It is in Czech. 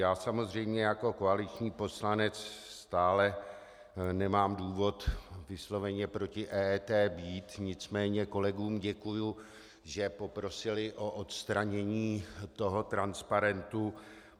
Já samozřejmě jako koaliční poslanec stále nemám důvod vysloveně proti EET být, nicméně kolegům děkuji, že poprosili o odstranění toho transparentu.